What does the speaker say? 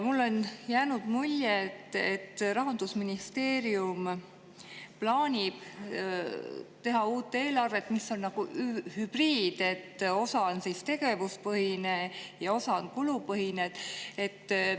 Mulle on jäänud mulje, et Rahandusministeerium plaanib teha uue eelarve, mis on nagu hübriid, et osa on tegevuspõhine ja osa on kulupõhine.